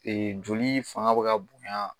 joli fanga be ka bonya